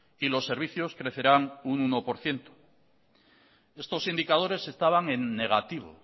y los servicios crecerán un uno por ciento estos indicadores estaban en negativo